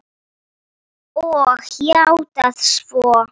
Og játað svo.